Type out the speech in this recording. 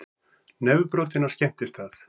Nefbrotinn á skemmtistað